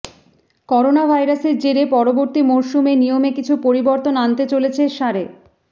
corona ভাইরাসের জেরে পরবর্তী মরশুমে নিয়মে কিছু পরিবর্তন আনতে চলেছে সারে